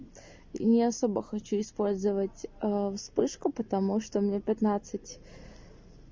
не особо хочу использовать аа вспышку потому что мне пятнадцать